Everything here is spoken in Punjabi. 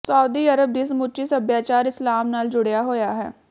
ਸਾਊਦੀ ਅਰਬ ਦੀ ਸਮੁੱਚੀ ਸਭਿਆਚਾਰ ਇਸਲਾਮ ਨਾਲ ਜੁੜਿਆ ਹੋਇਆ ਹੈ